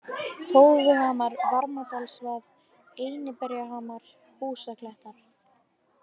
Tófuhamar, Varmadalsvað, Einiberjahamar, Húsaklettar